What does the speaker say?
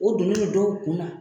O doni bɛ dɔw kun na.